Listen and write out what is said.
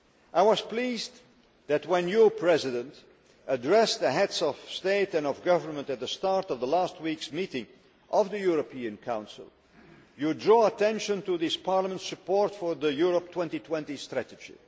I was pleased that, when your President addressed the Heads of State and Government at the start of last week's meeting of the European Council, you drew attention to Parliament's support for the Europe 2020 strategy.